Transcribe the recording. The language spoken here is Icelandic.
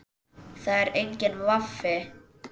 Það er enginn vafi.